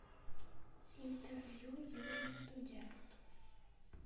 интервью юрия дудя